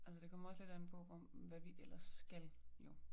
Altså det kommer jo også lidt an på hvad vi ellers skal jo